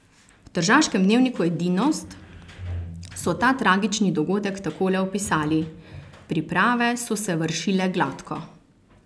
V tržaškem dnevniku Edinost so ta tragični dogodek takole opisali: 'Priprave so se vršile gladko.